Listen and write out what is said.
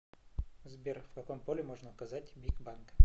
сбер в каком поле можно указать бик банка